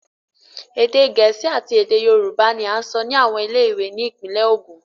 Ède Gẹ̀ẹ́sì àti Ède Yorùbá ní a ń sọ ni àwọn ilé ìwé ní ìpínlè Ògún.